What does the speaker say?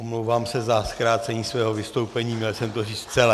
Omlouvám se za zkrácení svého vystoupení, měl jsem to říct celé.